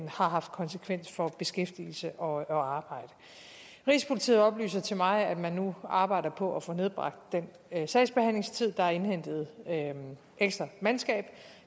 har haft konsekvens for beskæftigelse og og arbejde rigspolitiet oplyser til mig at man nu arbejder på at få nedbragt den sagsbehandlingstid der er indhentet ekstra mandskab